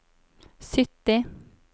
sytti